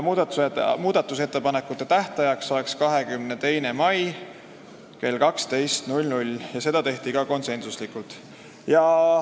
Muudatusettepanekute esitamise tähtajaks oleks 22. mai kell 12 .